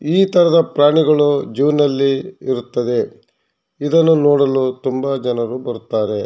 ಈ ತರಹದ ಪ್ರಾಣಿಗಳು ಝು ನಲ್ಲಿ ಇರುತ್ತದೆ ಇದನ್ನು ನೋಡಲು ತುಂಬ ಜನರು ಬರುತ್ತಾರೆ.